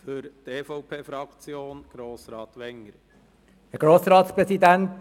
Die EVP-Fraktion steht für Gerechtigkeit.